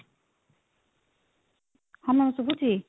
ହଁ ma'am ଶୁଭୁଚି?